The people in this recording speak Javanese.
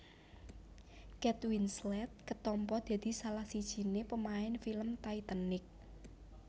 Kate Winslet ketampa dadi salah sijine pemain film Titanic